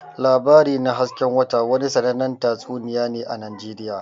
"Labari na hasken wata" wani sannanen tatsuniya ne a Najeriya.